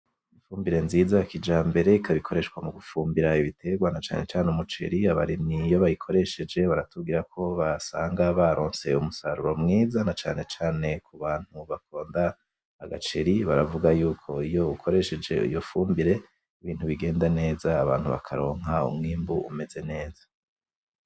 Ifumbire nziza ya Kijambere, ikaba ikoreshwa mugufumbira ibitegwa na cane cane umuceri, abarimyi iyo bayikoresheje baratubwirako basanga baronse umusaruro mwiza na cane cane ku bantu bakunda agaceri baravuga yuko iyo ukoresheje iyo fumbire ibintu bigenda neza abantu bakaronka umwimbu umeze neza.